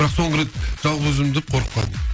бірақ соңғы рет жалғыз өзім жүріп қорқып қалдым